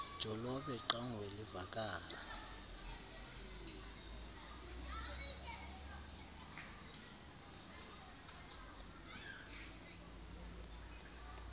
jolobe qanguie livakala